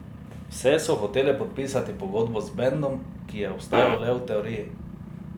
Vse so hotele podpisati pogodbo z bendom, ki je obstajal le v teoriji.